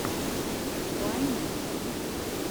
вайны в ютьюбе